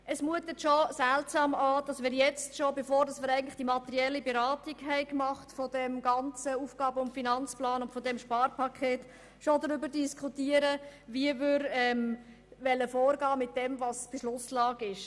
Es mutet seltsam an, dass wir schon jetzt, bevor wir die materielle Beratung des ganzen AFP und des EP aufgenommen haben, darüber diskutieren, wie wir mit der Beschlusslage umgehen wollen.